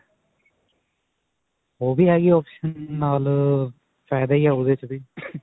ਓਹ ਵੀ ਹੈਗੀ option ਨਾਲ ਅਅ ਫਾਇਦਾ ਹੀ ਹੈ, ਓਦੇ ਵਿੱਚ ਵੀ.